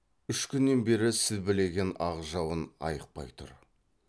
үш күннен бері сілбілеген ақ жауын айықпай тұр